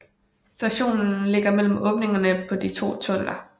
Stationen ligger mellem åbningerne på de to tunneller